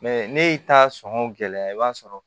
ne y'i ta sɔn gɛlɛya i b'a sɔrɔ